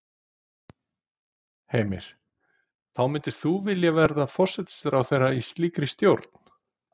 Heimir: Þá myndir þú vilja vera forsætisráðherra í slíkri stjórn?